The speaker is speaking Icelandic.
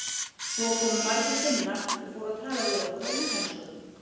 Svo komu margir Finnar og fóru að tala við okkur á útlensku.